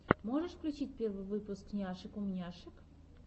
можешь включить первый выпуск няшек умняшек